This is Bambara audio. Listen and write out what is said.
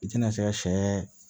I tɛna se ka sɛ